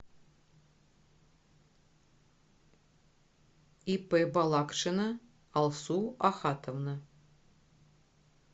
ип балакшина алсу ахатовна